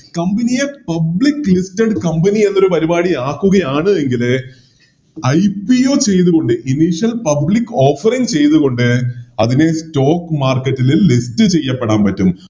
Company യെ Public listed company ആക്കുകയാണ് എങ്കില് IPO ചെയ്തുകൊണ്ട് Initial public offering ചെയ്തുകൊണ്ട് അതിനെ Stock market ല് List ചെയ്യപ്പെടാൻ പറ്റും